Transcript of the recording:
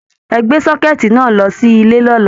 Ẹ gbé sọ́kẹ̀ẹ̀tì náà lọ sí ilé lọ́la!